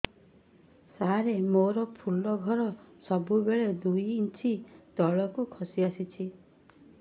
ସାର ମୋର ଫୁଲ ଘର ସବୁ ବେଳେ ଦୁଇ ଇଞ୍ଚ ତଳକୁ ଖସି ଆସିଛି